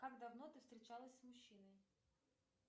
как давно ты встречалась с мужчиной